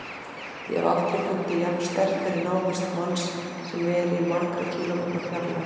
Ég hef aldrei fundið jafn sterkt fyrir návist manns sem er í margra kílómetra fjarlægð.